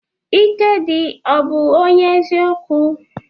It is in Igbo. Ikedi ọ bu onye eziokwu?